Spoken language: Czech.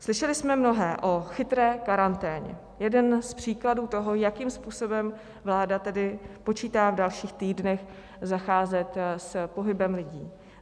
Slyšeli jsme mnohé o chytré karanténně - jeden z příkladů toho, jakým způsobem vláda tedy počítá v dalších týdnech zacházet s pohybem lidí.